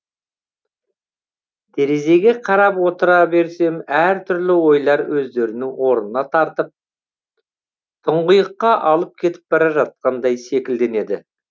терезге қарап отыра берсем әртүрлі ойлар өздерінің орына тартып тұңғиыққа алып кетіп бара жатқандай секілденеді